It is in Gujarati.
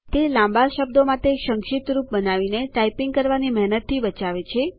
તે લાંબા શબ્દો માટે સંક્ષિપ્ત રૂપ બનાવીને ટાઈપીંગ કરવાની મેહનતથી બચાવે છે